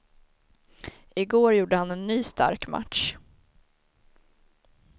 I går gjorde han en ny stark match.